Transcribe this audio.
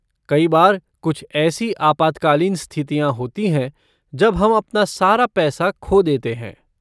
कई बार कुछ ऐसी आपातकालीन स्थितियाँ होती हैं जब हम अपना सारा पैसा खो देते हैं।